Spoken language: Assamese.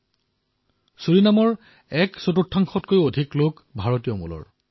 আজি ছুৰিনামৰ এক চতুৰ্থাংশতকৈও অধিক লোক ভাৰতীয় মূলৰ